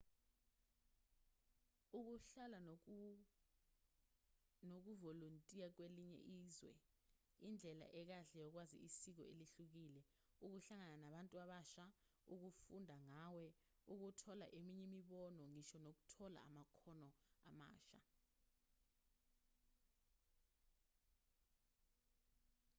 ukuhlala nokuvolontiya kwelinye izwe indlela ekahle yokwazi isiko elihlukile ukuhlangana nabantu abasha ukufunda ngawe ukuthola eminye imibono ngisho nokuthola amakhono amasha